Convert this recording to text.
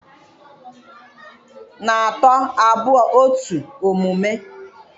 na atọ, abụọ, otu omume!